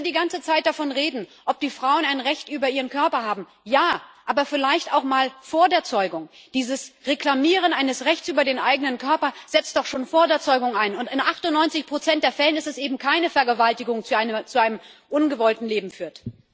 Und wenn Sie die ganze Zeit davon reden, ob die Frauen ein Recht über ihren Körper haben Ja, aber vielleicht auch mal vor der Zeugung. Dieses Reklamieren eines Rechts über den eigenen Körper setzt doch schon vor der Zeugung ein, und in 98 der Fälle ist es eben keine Vergewaltigung, die zu einem ungewollten Leben führt.